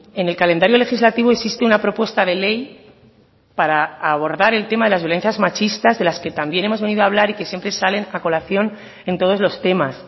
en el calendario legislativo existe una propuesta de ley para abordar el tema de las violencias machistas de las que también hemos venido a hablar y que siempre salen a colación en todos los temas